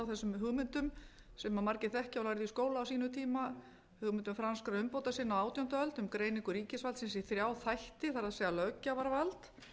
á hugmyndum sem margir þekkja og lærðu í skóla á sínum tíma hugmyndir franskra umbótasinna á átjándu öld um greiningu ríkisvaldsins í þrjá þætti það er löggjafarvald